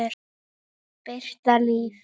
En hvaða hundur?